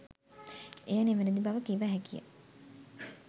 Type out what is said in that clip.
එය නිවැරදි බව කිව හැකිය.